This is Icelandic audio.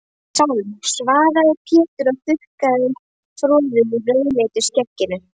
Sálm, svaraði Pétur og þurrkaði froðu úr rauðleitu skegginu.